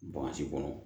kɔnɔ